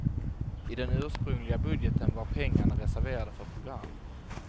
I den ursprungliga budgeten var pengarna reserverade för program.